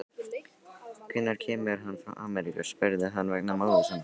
Hvenær kemur hann frá Ameríku, spurði hann vegna móður sinnar.